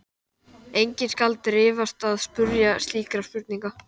Enginn skal dirfast að spyrja mig slíkra spurninga.